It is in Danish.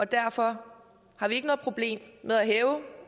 derfor har vi ikke noget problem med at hæve